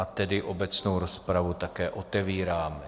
A tedy obecnou rozpravu také otevírám.